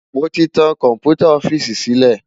Mó ti tán kòmpútá òfìsí silé